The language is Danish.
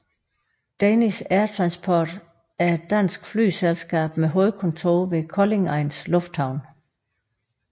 Danish Air Transport er et dansk flyselskab med hovedkontor ved Koldingegnens Lufthavn